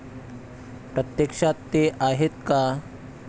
प्रत्यक्षात ते आहेत का?